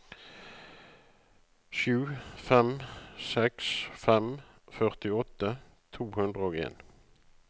sju fem seks fem førtiåtte to hundre og en